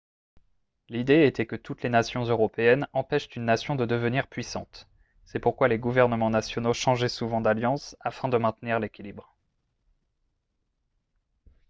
l'idée était que toutes les nations européennes empêchent une nation de devenir puissante c'est pourquoi les gouvernements nationaux changeaient souvent d'alliances afin de maintenir l'équilibre